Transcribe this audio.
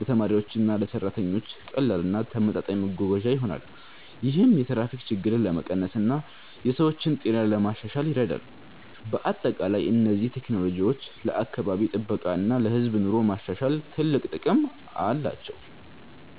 ለተማሪዎችና ለሰራተኞች ቀላል እና ተመጣጣኝ መጓጓዣ ይሆናል። ይህም የትራፊክ ችግርን ለመቀነስ እና የሰዎችን ጤና ለማሻሻል ይረዳል። በአጠቃላይ እነዚህ ቴክኖሎጂዎች ለአካባቢ ጥበቃ እና ለህዝብ ኑሮ ማሻሻል ትልቅ ጥቅም አላቸው።